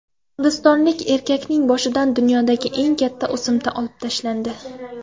Hindistonlik erkakning boshidan dunyodagi eng katta o‘simta olib tashlandi.